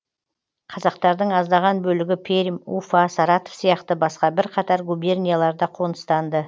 қазақтардың аздаған бөлігі пермь уфа саратов сияқты басқа бірқатар губернияларда қоныстанды